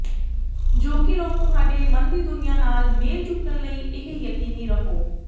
ਜੋ ਕਿ ਲੋਕ ਤੁਹਾਡੇ ਮਨ ਦੀ ਦੁਨੀਆ ਨਾਲ ਮੇਲ ਚੁੱਕਣ ਲਈ ਇਹ ਯਕੀਨੀ ਰਹੋ